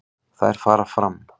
Þær fara fram